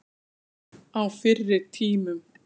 Á fyrri tímum.